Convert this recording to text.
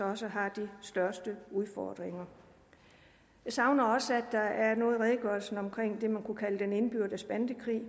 også har de største udfordringer jeg savner også at der er noget i redegørelsen om det man kunne kalde den indbyrdes bandekrig